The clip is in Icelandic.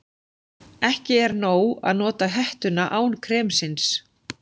Ekki er nóg að nota hettuna án kremsins.